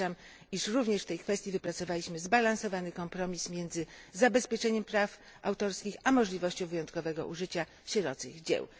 Uważam, iż również w tej kwestii wypracowaliśmy zbalansowany kompromis między zabezpieczeniem praw autorskich a możliwością wyjątkowego użycia sierocych dzieł.